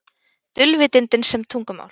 Dulvitundin sem tungumál